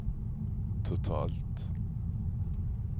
totalt